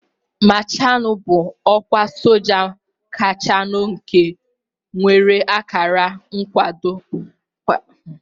Mashaalu bụ ọkwa soja kachanu nke nwere akara nkwado kpakpando ise